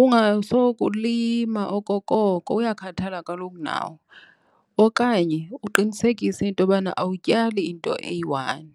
Ungasoloko ulima okokoko, uyakhathala kaloku nawo. Okanye uqinisekise into yobana awutyali into eyiwani.